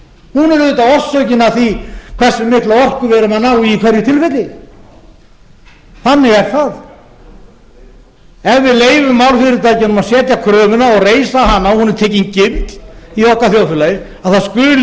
hún er auðvitað orsökin að því hversu mikla orku við erum að ná í í hverju tilfelli þannig er það ef við leyfum álfyrirtækjunum að setja kröfuna og reisa hana og hún er tekin gild í okkar þjóðfélagi að það